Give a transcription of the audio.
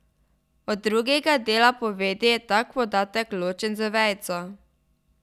Od drugega dela povedi je tak podatek ločen z vejico.